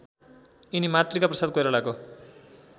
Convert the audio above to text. यिनी मातृकाप्रसाद कोइरालाको